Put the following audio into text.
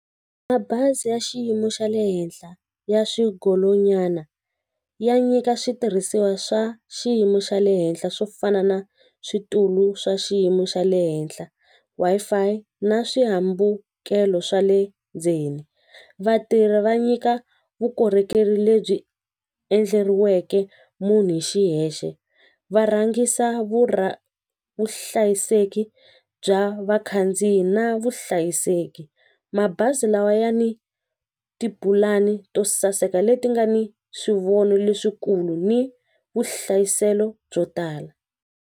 Mabazi ya xiyimo xa le henhla ya xigolonyana ya nyika switirhisiwa swa xiyimo xa le henhla swo fana na switulu swa xiyimo xa le henhla Wi-Fi na swihambukelo swa le ndzeni vatirhi va nyika vukorhokeri lebyi endleriweke munhu hi xiyexe va rhangisa vuhlayiseki bya vakhandziyi na vuhlayiseki mabazi lawa ya ni tipulani to saseka leti nga ni swivono leswikulu ni vuhlayiselo byo tala.